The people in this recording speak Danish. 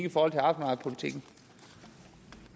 hvor der